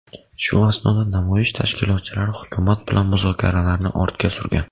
Shu asnoda namoyish tashkilotchilari hukumat bilan muzokaralarni ortga surgan.